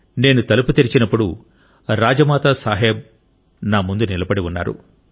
నేను తలుపు తెరిచినప్పుడు రాజమాతా సాహెబ్ ముందు నిలబడి ఉన్నారు